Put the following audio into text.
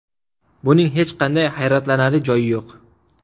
Buning hech qanday hayratlanarli joyi yo‘q.